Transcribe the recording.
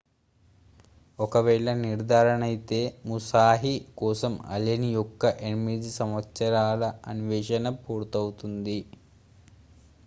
ఒకవేళ నిర్ధారణయితే musashi కోసం allen యొక్క 8 సంవత్సరాల అన్వేషణ పూర్తవుతుంది